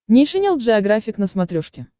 нейшенел джеографик на смотрешке